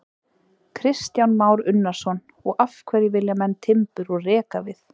Kristján Már Unnarsson: Og af hverju vilja menn timbur úr rekavið?